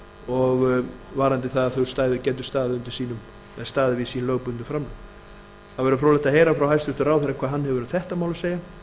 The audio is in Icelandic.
og varðandi það að þau gætu staðið við sín lögbundnu framlög það væri fróðlegt að heyra frá hæstvirtum ráðherra hvað hann hefur um þetta mál að segja